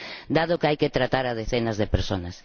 dado que hay que tratar a decenas de personas.